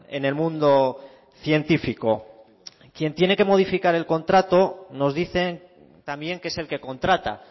en el mundo científico quien tiene que modificar el contrato nos dicen también que es el que contrata